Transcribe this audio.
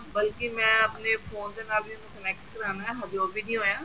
ਬਲਕਿ ਮੈਂ ਆਪਣੇ phone ਦੇ ਨਾਲ ਵੀ connect ਕਰਵਾਨਾ ਹਜੇ ਓਹ ਵੀ ਨਹੀਂ ਹੋਇਆ